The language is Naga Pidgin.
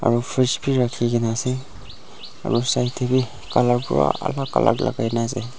aro fres bi rakhikae na ase aro side tae bi colour pura alak alak lagaina ase.